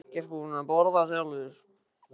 Ég var ekkert búinn að borða sjálfur.